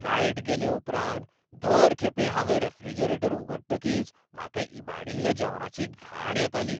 Light गेले उपरांत दर खेपे हांवें रेफ्रिजरेटर उगडचकीच म्हाका इबाडिल्ल्या जेवणाची घाण येताली.